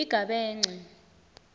igabence